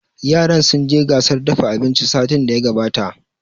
Yaran sun je gasar dafa abinci satin da ya gabata